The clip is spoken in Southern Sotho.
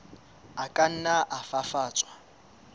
a ka nna a fafatswa